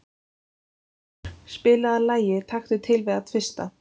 Valhildur, spilaðu lagið „Taktu til við að tvista“.